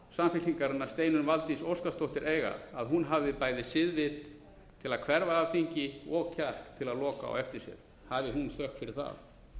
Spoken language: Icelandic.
samfylkingarinnar steinunn valdís óskarsdóttir eiga að hún hafi bæði siðvit til að hverfa af þingi og kjark til að loka á eftir sér hafi hún þökk fyrir það